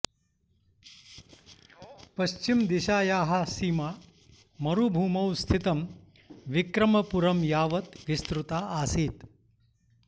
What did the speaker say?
पश्चिमदिशायाः सीमा मरुभूमौ स्थितं विक्रमपुरं यावत् विस्तृता आसीत्